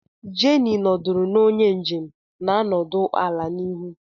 Jenny nọdụrụ na onye njem na-anọdụ ala n'ihu